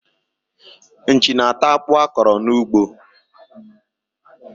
Nchi na-ata akpụ a kọrọ n'ugbo.